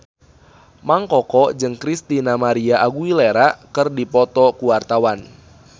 Mang Koko jeung Christina María Aguilera keur dipoto ku wartawan